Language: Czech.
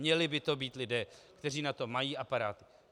Měli by to být lidé, kteří na to mají aparát.